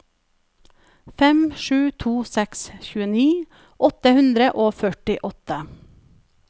fem sju to seks tjueni åtte hundre og førtiåtte